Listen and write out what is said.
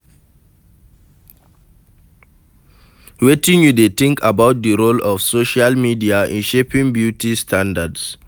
Wetin you dey think about di role of social media in shaping beauty standards?